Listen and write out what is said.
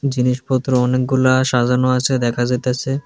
জিনিসপত্র অনেকগুলা সাজানো আছে দেখা যাইতাছে।